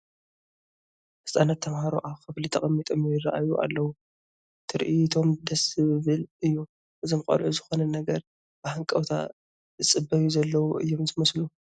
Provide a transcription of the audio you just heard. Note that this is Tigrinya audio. ህፃናት ተመሃሮ ኣብ ክፍሊ ተቐሚጦም ይርአዩ ኣለዉ፡፡ ትርኢቶም ደስ ዝብል እዩ፡፡ እዞም ቆልዑ ዝኾነ ነገር ብሃንቀውታ ዝፅበዩ ዘለዉ እዮም ዝመስሉ፡፡